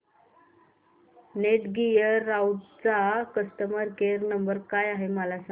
Netgear राउटरचा customer care number काय आहे मला सांग